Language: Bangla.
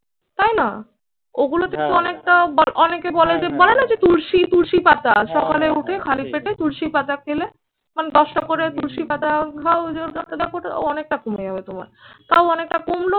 তাই না? ওগুলো তে কিন্তু অনেকটা অনেকে বলে যে বলে না যে তুলসী তুলসী পাতা সকালে উঠে খালি পেটে তুলসী পাতা খেলে মানে দশটা করে তুলসী পাতা অনেকটা কমে যাবে তোমার। তাও অনেকটা কমলো